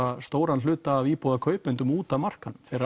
stóran hluta af íbúðakaupendum út af markaðnum þeir